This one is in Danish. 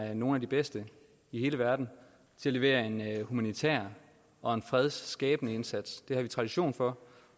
er nogle af de bedste i hele verden til at levere en humanitær og fredsskabende indsats det har vi tradition for